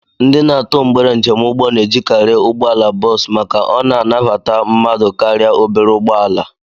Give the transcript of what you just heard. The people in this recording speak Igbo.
Ndị na-atụ mgbere njemụgbọ na-ejikarị ụgbọala bọs maka na ọ na-abata mmadụ karịa obere ụgbọala